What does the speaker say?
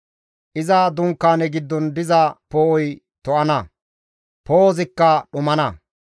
Iza dunkaane giddon diza poo7oy to7ana; poo7ozikka dhumana.